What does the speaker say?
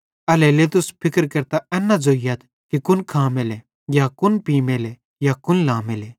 एल्हेरेलेइ तुस फिक्र केरतां एन न ज़ोइयथ कि कुन खामेले या कुन पीमेले या कुन लामेले